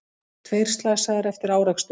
Tveir slasaðir eftir árekstur